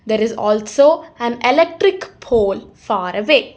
there is also an electric pole far away.